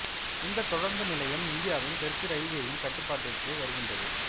இந்த தொடருந்து நிலையம் இந்தியாவின் தெற்கு இரயில்வேயின் கட்டுப்பாட்டிற்குள் வருகின்றது